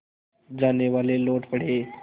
जानेवाले लौट पड़े